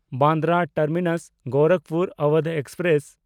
Bandra ᱴᱟᱨᱢᱤᱱᱟᱥ–ᱜᱳᱨᱟᱠᱷᱯᱩᱨ Awadh express